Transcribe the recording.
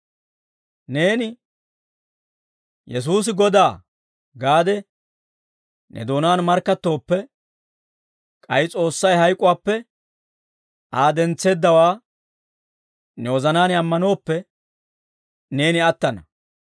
Neeni, «Yesuusi Godaa» gaade ne doonaan markkattooppe, k'ay S'oossay hayk'uwaappe Aa dentseeddawaa ne wozanaan ammanooppe, neeni attana.